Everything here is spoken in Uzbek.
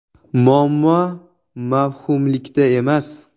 Muammo mavhumlikda emas.